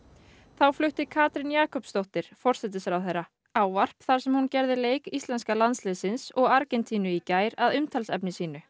þá flutti Katrín Jakobsdóttir forsætisráðherra ávarp þar sem hún gerði leik íslenska landsliðsins og Argentínu í gær að umtalsefni sínu